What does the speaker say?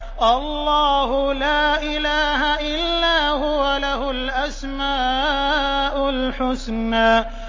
اللَّهُ لَا إِلَٰهَ إِلَّا هُوَ ۖ لَهُ الْأَسْمَاءُ الْحُسْنَىٰ